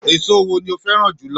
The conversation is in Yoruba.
Èso wo ni o fẹ́ràn jù lọ?